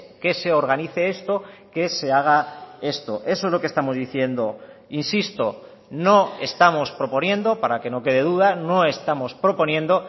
que se organice esto que se haga esto eso es lo que estamos diciendo insisto no estamos proponiendo para que no quede duda no estamos proponiendo